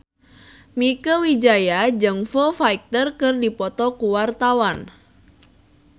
Mieke Wijaya jeung Foo Fighter keur dipoto ku wartawan